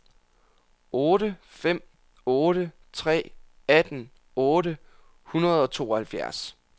otte fem otte tre atten otte hundrede og tooghalvfjerds